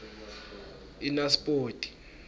inaspoti